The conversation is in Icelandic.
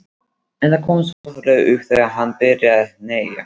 En það komst fljótlega upp þegar hann byrjaði að hneggja.